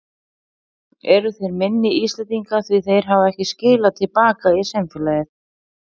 Eru þeir minni Íslendingar því þeir hafa ekki skilað til baka í samfélagið?